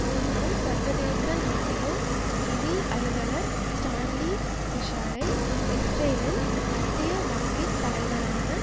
முன்னாள் சர்வதேச நாணய நிதி அலுவலர் ஸ்டான்லி பிஷ்ஷரை இஸ்ரேலின் மத்திய வங்கி தலைவரான